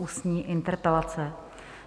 Ústní interpelace